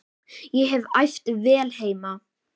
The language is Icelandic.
Ég hef æft vel heima.